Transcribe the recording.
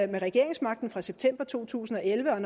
med regeringsmagten fra september to tusind og elleve og at